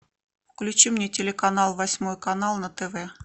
включи мне телеканал восьмой канал на тв